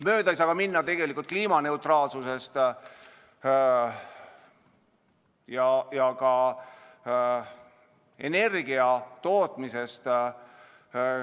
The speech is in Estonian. Mööda ei saa minna kliimaneutraalsusest ja energiatootmisest.